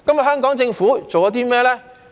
香港政府做了甚麼呢？